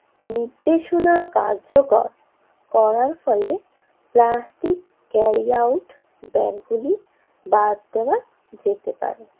নির্দেশনা কার্যকর করার ফলে প্লাস্টিক কেরি আউট ব্যাগগুলি বাদ দেওয়া যেতে পারে I